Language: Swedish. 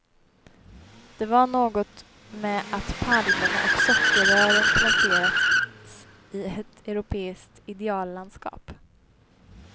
Det var någonting med att palmerna och sockerrören placerats i ett europeiskt ideallandskap.